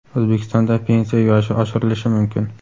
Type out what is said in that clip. O‘zbekistonda pensiya yoshi oshirilishi mumkin.